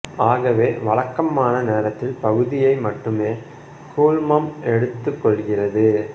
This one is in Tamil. ஆகவே வழக்கமான நேரத்தில் பகுதியை மட்டுமே கூழ்மம் எடுத்துக் கொள்கிறது